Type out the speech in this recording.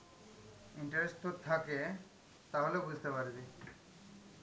interest তোর থাকে, তাহলে বুঝতে পারবি.